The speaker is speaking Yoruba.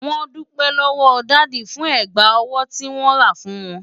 Wọ́n dúpẹ́ lọ́wọ́ dádì fún ẹ̀gbà ọwọ́ tí wọ́n rà fún wọn.